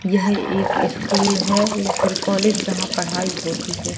यह एक स्कूल है या फिर कॉलेज जहां पढ़ाई होती है।